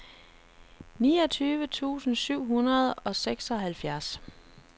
niogtyve tusind syv hundrede og seksoghalvfjerds